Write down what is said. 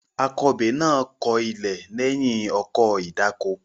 Akọbè náà kọ ilẹ̀ lẹ́yìn ọkọ̀ ìdáko.